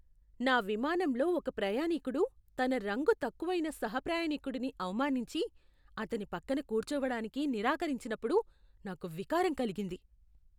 నా విమానంలో ఒక ప్రయాణీకుడు తన రంగు తక్కువైన సహ ప్రయాణీకుడిని అవమానించి, అతని పక్కన కూర్చోవడానికి నిరాకరించిన్నప్పుడు నాకు వికారం కలిగింది.